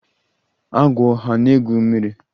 Agwọ hà na-egwu mmiri?